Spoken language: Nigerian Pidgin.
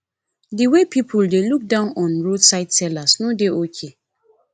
the way people dey look down on roadside seller no dey okay